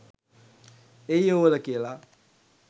ඒ යුවල කියල.